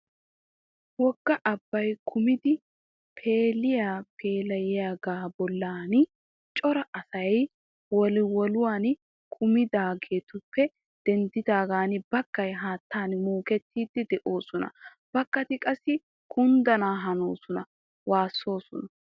Wogga abbay kummidi pheeli pheeliyaaga bollan cora asay woliwoluwan kummiddoogappe denddidaagan baggay haattan muukkettiidi de'oosona. Bagati qassi kundana hanosonanne waassoosona.